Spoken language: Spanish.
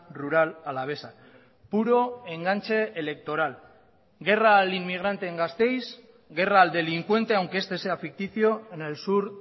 rural alavesa puro enganche electoral guerra al inmigrante en gasteiz guerra al delincuente aunque este sea ficticio en el sur